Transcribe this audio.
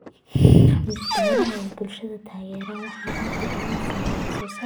Beeraha ay bulshadu taageerto waxay inta badan siiyaan wax soo saar cusub xaafadaha deegaanka.